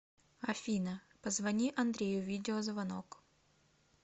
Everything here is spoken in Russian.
афина позвони андрею видеозвонок